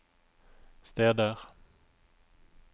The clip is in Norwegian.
steder